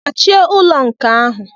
Gbachie ụlọ nkà ahụ!